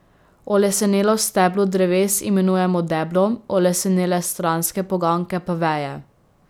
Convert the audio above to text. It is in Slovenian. Olesenelo steblo dreves imenujemo deblo, olesenele stranske poganjke pa veje.